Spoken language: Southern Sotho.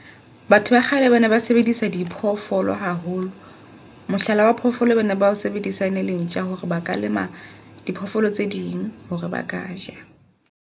Batho ba kgale bana ba sebedisa di phoofolo haholo. Mohlala wa phofolo eo bana bao sebedisa ene le ntja hore ba ka lema diphoofolo tse ding hore ba ka ja.